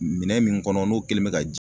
Minɛn min kɔnɔ n'o kɛlen be ka ji